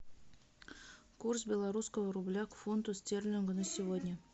курс белорусского рубля к фунту стерлингу на сегодня